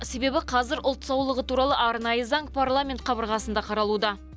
себебі қазір ұлт саулығы туралы арнайы заң парламент қабырғасында қаралуда